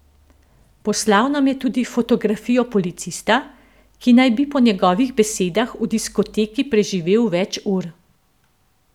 Poslal nam je tudi fotografijo policista, ki naj bi po njegovih besedah v diskoteki preživel več ur.